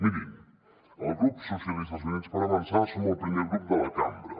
mirin el grup socialistes i units per avançar som el primer grup de la cambra